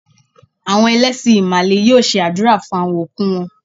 Àwọn ẹlẹ́sìn Ìmàlè yóò ṣe àdúrà fún àwon òkú wọn.